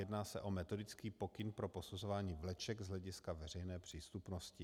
Jedná se o metodický pokyn pro posuzování vleček z hlediska veřejné přístupnosti.